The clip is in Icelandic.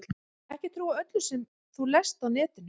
Ekki trúa öllu sem þú lest á netinu.